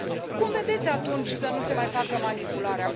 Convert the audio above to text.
Cum vedeți, atunci, să nu se mai facă manipularea?